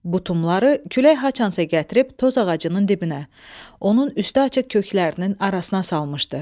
Butumları külək haçansa gətirib toz ağacının dibinə, onun üstü açıq köklərinin arasına salmışdı.